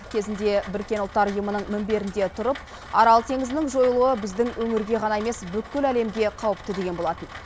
кезінде біріккен ұлттар ұйымының мінберінде тұрып арал теңізінің жойылуы біздің өңірге ғана емес бүкіл әлемге қауіпті деген болатын